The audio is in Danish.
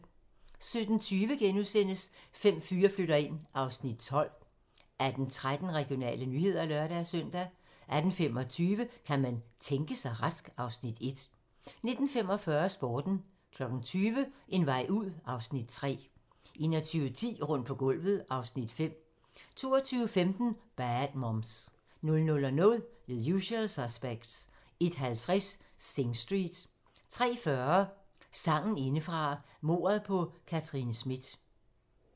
17:20: Fem fyre flytter ind (Afs. 12)* 18:13: Regionale nyheder (lør-søn) 18:25: Kan man tænke sig rask? (Afs. 1) 19:45: Sporten 20:00: En vej ud (Afs. 3) 21:10: Rundt på gulvet (Afs. 5) 22:15: Bad Moms 00:00: The Usual Suspects 01:50: Sing Street 03:40: Sagen indefra - mordet på Katherine Smith